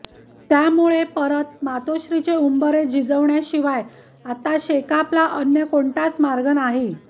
त्यामुळं परत मातोश्रीचे उंबरे झिजविण्याशिवाय आता शेकापला अन्य कोणताच मार्ग नाही